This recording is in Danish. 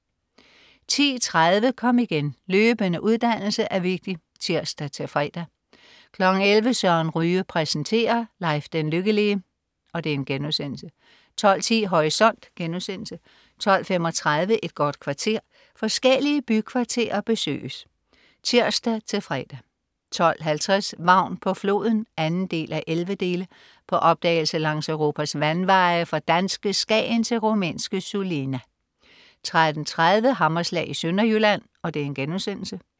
10.30 Kom igen. Løbende uddannelse er vigtig (tirs-fre) 11.00 Søren Ryge præsenterer. Leif den Lykkelige* 12.10 Horisont* 12.35 Et godt kvarter. Forskellige bykvarterer besøges (tirs-fre) 12.50 Vagn på floden 2:11. På opdagelse langs Europas vandveje, fra danske Skagen til rumænske Sulina 13.30 Hammerslag i Sønderjylland*